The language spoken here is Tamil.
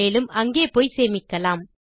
மேலும் அங்கே போய் சேமிக்கலாம்